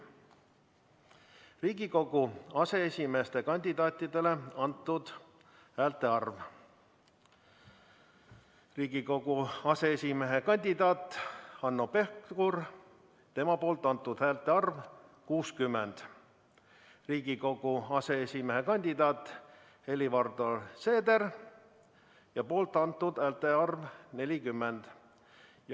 Riigikogu aseesimeeste kandidaatidele antud häälte arv: Riigikogu aseesimehe kandidaadi Hanno Pevkuri poolt antud häälte arv – 60, Riigikogu aseesimehe kandidaadi Helir-Valdor Seederi poolt antud häälte arv – 40.